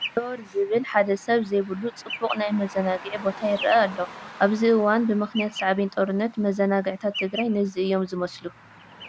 ዘወር ዝብል ሓደ ሰብ ዘይብሉ ፅቡቕ ናይ መዘናግዒ ቦታ ይርአ ኣሎ፡፡ ኣብዚ እዋን ብምኽንያት ሳዕቤን ጦርነት መዘናግዕታት ትግራይ ነዚ እዮም ዝመስሉ፡፡